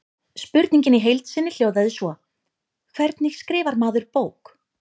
Spurningin í heild sinni hljóðaði svo: Hvernig skrifar maður bók?